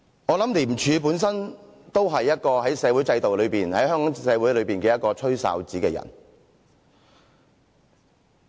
我想廉署本身都是一個在社會制度內、在香港社會內吹哨子的人。